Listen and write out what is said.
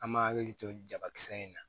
An ma hakili to nin jabakisɛ in na